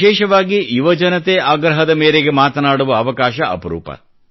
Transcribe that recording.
ವಿಶೇಷವಾಗಿ ಯುವಜನತೆ ಆಗ್ರಹದ ಮೇರೆಗೆ ಮಾತಾಡುವ ಅವಕಾಶ ಅಪರೂಪ